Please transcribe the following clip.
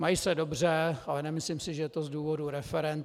Mají se dobře, ale nemyslím si, že je to z důvodu referend.